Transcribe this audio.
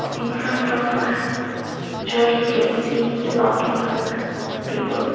in front of church we can see lot of people.